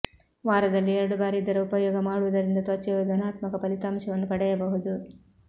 ವಾರದಲ್ಲಿ ಎರಡು ಬಾರಿ ಇದರ ಉಪಯೋಗ ಮಾಡುವುದರಿಂದ ತ್ವಚೆಯು ಧನಾತ್ಮಕ ಫಲಿತಾಂಶವನ್ನು ಪಡೆಯಬಹುದು